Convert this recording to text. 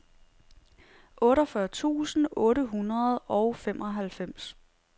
otteogfyrre tusind otte hundrede og femoghalvfems